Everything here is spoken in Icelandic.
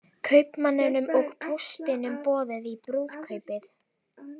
Kaupmanninum og póstinum boðið í brúðkaupið